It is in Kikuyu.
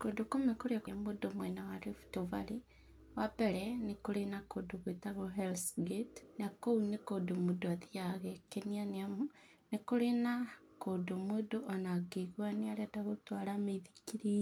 Kũndũ kũmwe kũrĩa mũndũ mwena wa Rift Valley wa mbere nĩ kũrĩ na kũndũ gwĩtagwo Hells gate na kũu nĩ kũndũ mũndũ athiyaga agekenia nĩamu nĩ kũrĩ na kũndũ mũndũ ona angĩĩgua nĩ arenda gũtwarithia mũithikiri